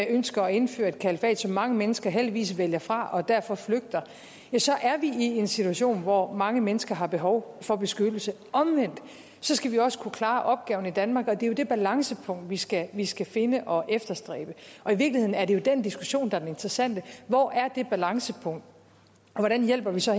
ønsker at indføre et kalifat som mange mennesker heldigvis vælger fra og derfor flygter ja så er vi i en situation hvor mange mennesker har behov for beskyttelse omvendt skal vi også kunne klare opgaven i danmark og det er det balancepunkt vi skal vi skal finde og efterstræbe og i virkeligheden er det jo den diskussion der er den interessante hvor er det balancepunkt og hvordan hjælper vi så